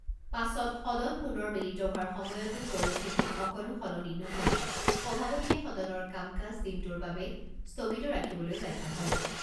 পাছত সদন পুনৰ মিলিত হোৱাৰ সময়তো পৰিস্থিতি অকণো সলনি নোহোৱাত সভাপতিয়ে সদনৰ কাম কাজ দিনটোৰ বাবে স্থগিত ৰাখিবলৈ বাধ্য হয়।